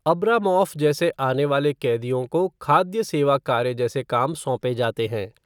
Abramoff जैसे आने वाले कैदियों को खाद्य सेवा कार्य जैसे काम सौंपे जाते हैं।